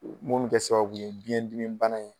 mun bɛ kɛ sababu ye biyɛn dimi bana in